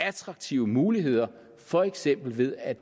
attraktive muligheder for eksempel ved at